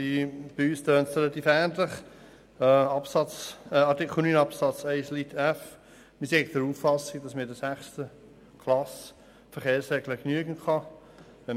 Zu Artikel 9 Absatz 1 Buchstabe f: Wir sind der Auffassung, dass man in der sechsten Klasse die Verkehrsregeln genügend kennt.